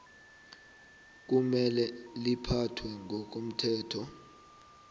kumele liphathwe ngokomthetho